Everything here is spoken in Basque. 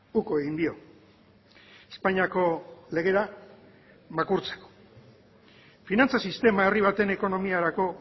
uko egin dio espainiako legera makurtzen finantza sistema herri baten ekonomiarako